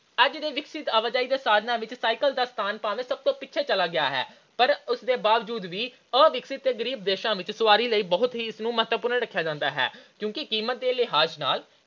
ਅੱਜ ਦੇ ਵਿਕਸਤ ਆਵਾਜਾਈ ਦੇ ਸਾਧਨਾਂ ਵਿੱਚ cycle ਦਾ ਸਥਾਨ ਭਾਵੇਂ ਸਭ ਤੋਂ ਪਿੱਛੇੇ ਚਲਾ ਗਿਆ ਹੈ। ਪਰ ਇਸ ਦੇ ਬਾਵਜੂਦ ਵੀ ਅਵਿਕਸਿਤ ਤੇ ਗਰੀਬ ਦੇਸ਼ਾਂ ਵਿੱਚ ਸਵਾਰੀ ਲਈ ਬਹੁਤ ਹੀ ਇਸ ਨੂੰ ਬਹੁਤ ਹੀ ਮਹੱਤਵਪੂਰਨ ਸਥਾਨ ਰੱਖਿਆ ਜਾਂਦਾ ਹੈ ਕਿਉਂਕਿ ਕੀਮਤ ਦੇ ਲਿਹਾਜ ਨਾਲ